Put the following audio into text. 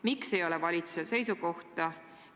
Miks ei ole valitsusel seisukohta?